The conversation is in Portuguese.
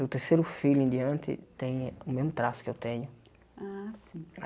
Do terceiro filho em diante, tem o mesmo traço que eu tenho. Ah sim